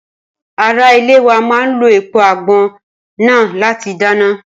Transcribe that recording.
ará ilé wa má lo èèpo àgbọn náà láti dáná